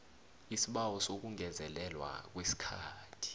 isibawo sokungezelelwa kwesikhathi